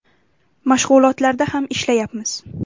Mashg‘ulotlarda ham ishlayapmiz.